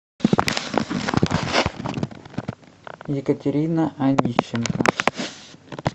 екатерина онищенко